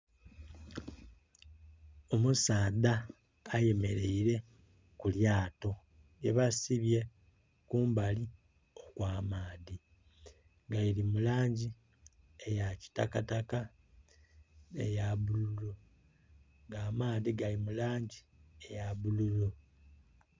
Omusaadha ayemeraile ku lyato lyebasibye kumbali okw'amaadhi nga liri mu langi eyakitakataka, eya bululu, nga amaadhi gali mu langi eya bululu